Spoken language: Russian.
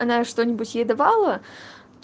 она что-нибудь ей давала